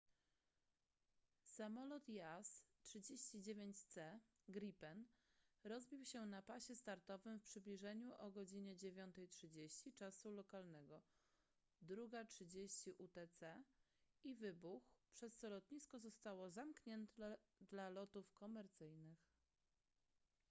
samolot jas 39c gripen rozbił się na pasie startowym w przybliżeniu o godz. 9:30 czasu lokalnego 02:30 utc i wybuchł przez co lotnisko zostało zamknięte dla lotów komercyjnych